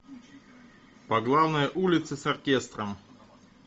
по главной улице с оркестром